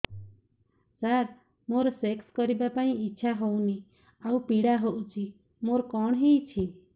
ସାର ମୋର ସେକ୍ସ କରିବା ପାଇଁ ଇଚ୍ଛା ହଉନି ଆଉ ପୀଡା ହଉଚି ମୋର କଣ ହେଇଛି